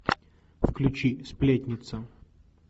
включи сплетница